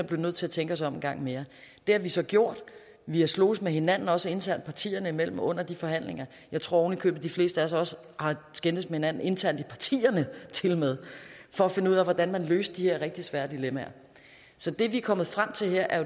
blev nødt til at tænke os om en gang mere det har vi så gjort vi har sloges med hinanden også internt partierne imellem under de forhandlinger jeg tror ovenikøbet de fleste af os også har skændtes med hinanden internt i partierne for at finde ud af hvordan man løste de her rigtig svære dilemmaer så det vi er kommet frem til her er